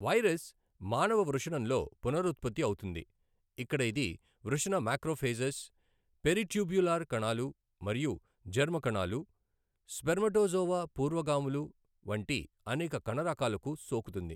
Virus మానవ వృషణంలో పునరుత్పత్తి అవుతుంది, ఇక్కడ ఇది వృషణ మాక్రోఫేజెస్, పెరిట్యూబ్యులర్ కణాలు మరియు జెర్మ్ కణాలు, స్పెర్మటోజోవా పూర్వగాములు వంటి అనేక కణరకాలకు సోకుతుంది.